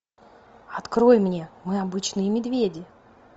открой мне мы обычные медведи